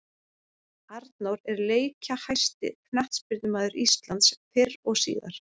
Arnór er leikjahæsti knattspyrnumaður Íslands fyrr og síðar.